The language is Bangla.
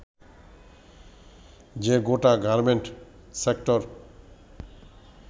যে গোটা গার্মেন্ট সেক্টর